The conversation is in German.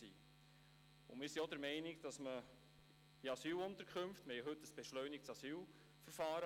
Wir sind auch der Meinung, dass es in Asylunterkünften nicht nötig ist, so etwas einzuführen.